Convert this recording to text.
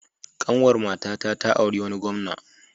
Ƙanwar matata ta auri wani gwamna.